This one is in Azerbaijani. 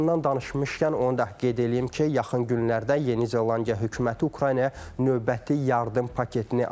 Yardımdan danışmışkən onu da qeyd eləyim ki, yaxın günlərdə Yeni Zelandiya hökuməti Ukraynaya növbəti yardım paketini ayıracaq.